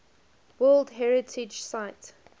world heritage site